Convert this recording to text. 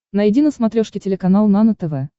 найди на смотрешке телеканал нано тв